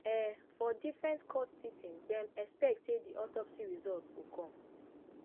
um for different court sitting dem expect say di autopsy result go come